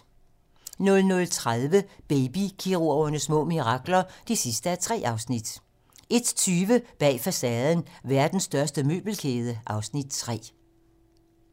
00:30: Baby-kirurgernes små mirakler (3:3) 01:20: Bag facaden: Verdens største møbelkæde (Afs. 3)